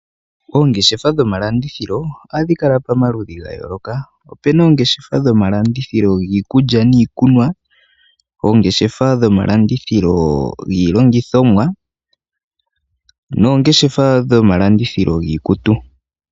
Oongeshefa dhomalandithilo ohadhi kala pamaludhi gayooloka. Opena oongeshefa dhomalandithilo giikulya niikumwa, oongeshefa dhomalandithilo giilongithomwa, noongeshefa dhomalandithilo giikutu.